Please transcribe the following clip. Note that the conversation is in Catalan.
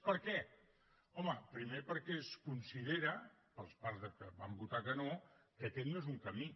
per que home primer perquè es considera per part dels que van votar que no que aquest no és un camí